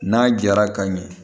N'a jara ka ɲɛ